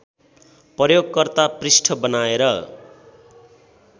प्रयोगकर्ता पृष्ठ बनाएर